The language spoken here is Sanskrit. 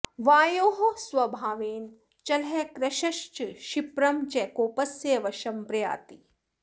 वायोः स्वभावेन चलः कृशश्च क्षिप्रं च कोपस्य वशं प्रयाति